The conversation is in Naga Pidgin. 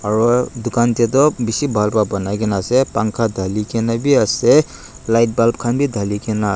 aru dukan te toh bishi bal ba banai kene ase pankha dali kene bi ase lightbulb khan bi dali kena.